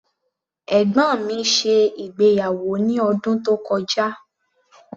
Ẹ̀gbọ́n mi ṣe ìgbéyàwó ní ọdún tó kọjá.